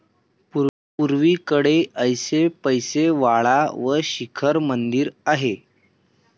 पुर्वेकडे ऐसपैस वाडा व शिखर मंदिर आहे.